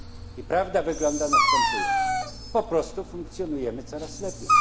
I prawda wygląda następująco po prostu funkcjonujemy coraz lepiej